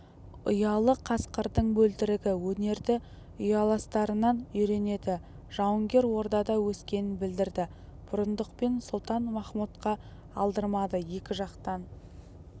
ұялы қасқырдың бөлтірігі өнерді ұяластарынан үйренеді жауынгер ордада өскенін білдірді бұрындық пен сұлтан-махмұтқа алдырмады екі жақтан